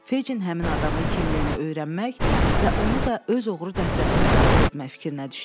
Fecin həmin adamın kimliyini öyrənmək və onu da öz oğru dəstəsinə daxil etmək fikrinə düşdü.